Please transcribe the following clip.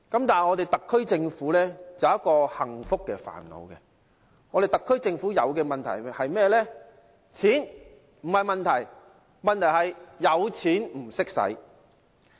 但是，特區政府有一個幸福的煩惱，特區政府面對的問題是甚麼呢？